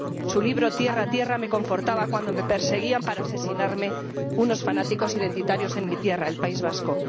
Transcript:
Su libro ¡Tierra, tierra! me confortaba cuando me perseguían, para asesinarme, unos fanáticos identitarios en mi tierra, el País Vasco.